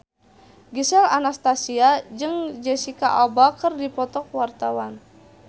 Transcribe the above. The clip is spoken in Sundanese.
Gisel Anastasia jeung Jesicca Alba keur dipoto ku wartawan